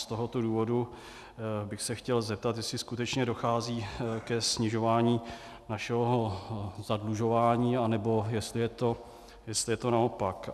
Z tohoto důvodu bych se chtěl zeptat, jestli skutečně dochází ke snižování našeho zadlužování, nebo jestli je to naopak.